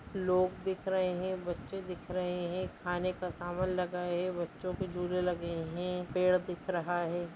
लोग दिख रहे हैं बच्चे दिख रहे हैं खाने का समान लगा है बच्चो के झूले लगे हैं पेड़ दिख रहा है।